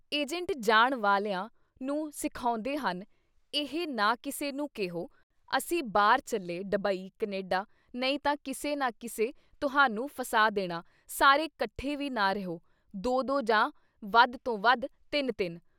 Agent ਜਾਣ ਵਾਲਿਆਂ ਨੂੰ ਸਿਖਾਉਂਦੇ ਹਨ ਇਹ ਨਾ ਕਿਸੇ ਨੂੰ ਕਿਹੋ-ਅਸੀਂ ਬਾਹਰ ਚੱਲੇ ਡਬਈ, ਕਨੇਡਾ ਨਹੀਂ ਤਾਂ ਕਿਸੇ ਨਾ ਕਿਸੇ ਤੁਹਾਨੂੰ ਫਸਾ ਦੇਣਾ ਸਾਰੇ ਕੱਠੇ ਵੀ ਨਾ ਰਿਹੋ, ਦੋ ਦੋ ਜਾਂ ਵੱਧ ਤੋਂ ਵੱਧ ਤਿੰਨ ਤਿੰਨ।